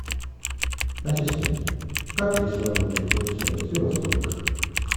ассистент как здесь работает рум сервис и во сколько